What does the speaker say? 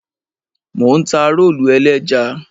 Mò ń ta rólù ẹlẹ́ja.